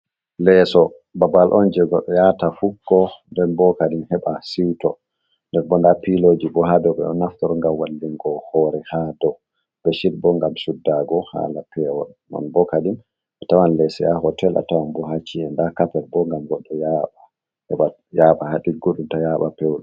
Leeso, babal on je goɗɗo yaata fukko, nden bo kadin heɓa siwto, nden bo nda pilooji bo ha dow, ɓe ɗo naftoro ngam wallingo hoore ha dow, beshid bo ngam suddaago haala pewol. Non bo kadin bo tawan leeso ha hootel, a tawan bo ha chi'e, nda kapet bo ngam goɗɗo yaaɓa ha ɗigguɗum, ta yaaɓa pewol.